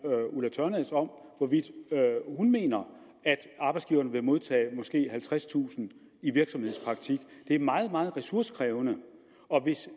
ulla tørnæs om hvorvidt hun mener at arbejdsgiverne vil modtage måske halvtredstusind i virksomhedspraktik det er meget meget ressourcekrævende og hvis